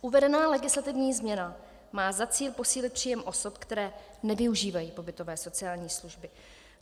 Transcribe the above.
Uvedená legislativní změna má za cíl posílit příjem osob, které nevyužívají pobytové sociální služby.